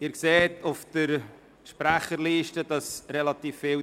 Sie sehen, dass die Sprecherliste relativ voll ist.